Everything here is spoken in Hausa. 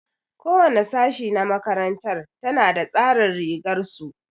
Ko wani sashi na makarantar ta na da tsarin rigar su.